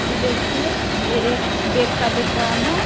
ऐ देखिए ये एक बैग का दुकान है।